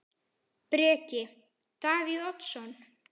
Breki: Davíð Oddsson?